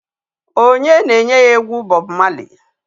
Onye na-enye ya egwu Bob Marley?